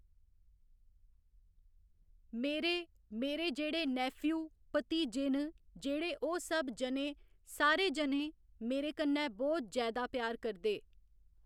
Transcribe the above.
मेरे मेरे जेह्ड़े नैफिऊ, भतीजे न जेह्ड़े ओह् सब जनें सारे जनें मेरे कन्नै बहुत जैदा प्यार करदे।